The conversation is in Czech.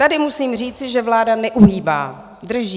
Tady musím říci, že vláda neuhýbá, drží.